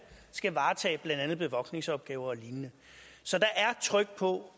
skal varetage blandt andet bevogtningsopgaver og lignende så der er tryk på